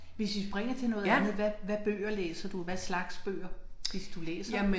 Hvis vi springer til noget andet hvad hvad bøger læser du hvad slags bøger hvis du læser